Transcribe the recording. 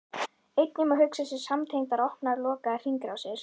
Einnig má hugsa sér samtengdar opnar og lokaðar hringrásir.